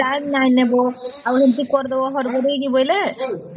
time ନାଇଁ ନେବା ଆଉ ଏମିତି କରିଦେବା ହଡ଼ବଡ଼ ହେଇକରି ବୋଇଲେ